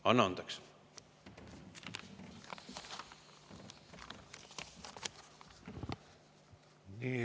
Anna andeks!